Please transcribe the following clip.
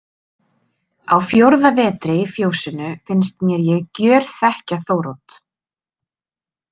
Á fjórða vetri í fjósinu finnst mér ég gjörþekkja Þórodd.